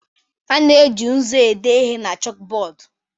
A na-eji nzu ede ihe na chọkụbọdụ